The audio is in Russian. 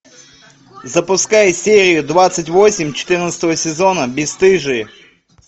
запускай серию двадцать восемь четырнадцатого сезона бесстыжие